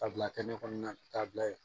Ka bila kɛ ne kɔnɔna ta bila yen